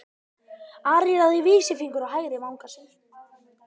Ari lagði vísifingur á hægri vanga sinn.